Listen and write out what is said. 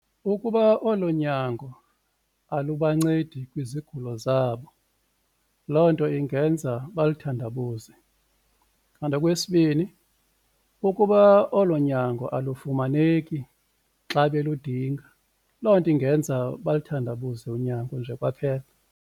Ukuba oloo nyango alubancedi kwizigulo zabo loo nto ingenza balithandabuze. Kanti okwesibini, ukuba olo nyango alufumaneki xa beludinga loo nto ingenza balithandabuze unyango nje kwaphela.